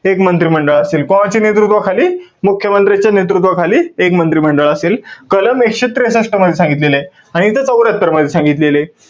एक मंत्रिमंडळ असेल. कोणाच्या नेतृत्वाखाली? मुख्य मंत्र्याच्या नेतृत्वाखाली, एक मंत्रिमंडळ असेल, कलम एकशे त्रेसष्ट मध्ये सांगितलेलंय. आणि इथं चौर्यात्तर मध्ये सांगितलेलंय.